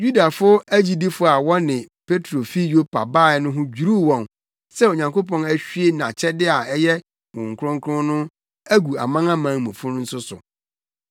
Yudafo agyidifo a wɔne Petro fi Yopa bae no ho dwiriw wɔn sɛ Onyankopɔn ahwie nʼakyɛde a ɛyɛ Honhom Kronkron no agu amanamanmufo no nso so.